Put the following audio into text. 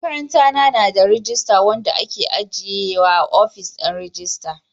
Makarantana na da rajista wanda ke ajiye a ofishin rajista.